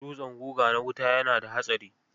Dutsen guga na wuta yana da hatsari.